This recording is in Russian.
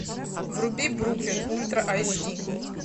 вруби бруклин ультра айч ди